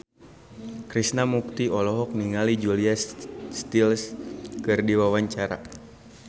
Krishna Mukti olohok ningali Julia Stiles keur diwawancara